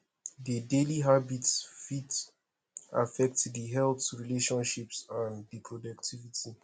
di daily habits fit affect di health relationships and di productivity